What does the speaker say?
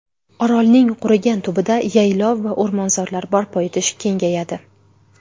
Orolning qurigan tubida yaylov va o‘rmonzorlar barpo etish kengayadi.